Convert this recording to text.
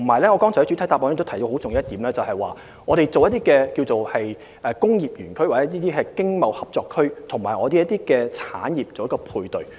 同時，我在主體答覆中提到的很重要一點，是就工業園區或經貿合作區與香港產業作出配對。